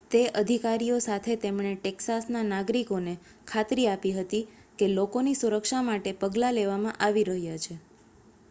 તે અધિકારીઓ સાથે તેમણે ટેક્સાસના નાગરિકોને ખાતરી આપી હતી કે લોકોની સુરક્ષા માટે પગલાં લેવામાં આવી રહ્યાં છે